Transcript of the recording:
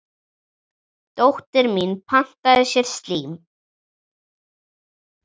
Dóttir mín pantaði sér slím.